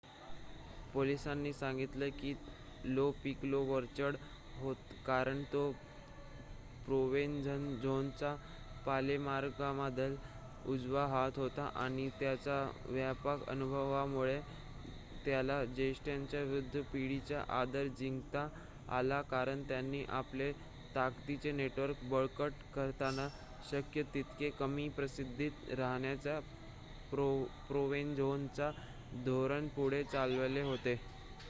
पोलिसांनी सांगितलं की लो पिकोलो वरचढ होता कारण तो प्रोवेनझानोचा पालेर्मोमधला उजवा हात होता आणि त्याच्या व्यापक अनुभवामुळे त्याला ज्येष्ठांच्या वृद्ध पिढीचा आदर जिंकता आला कारण त्यांनी आपले ताकदीचे नेटवर्क बळकट करताना शक्य तितके कमी प्रसिद्धीत राहण्याचे प्रोवेनझानोचे धोरण पुढे चालवले होते